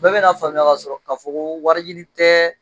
Bɛɛ bɛna faamuya ka sɔrɔ k'a fɔ ko wari ɲini tɛ